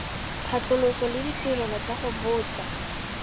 phatlhoso le ditirelo tsa botsadi